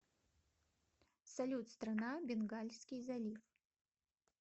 салют страна бенгальский залив